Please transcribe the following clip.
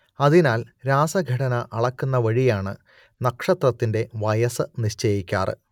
അതിനാൽ രാസഘടന അളക്കുന്നവഴിയാണ് നക്ഷത്രത്തിന്റെ വയസ്സ് നിശ്ചയിക്കാറ്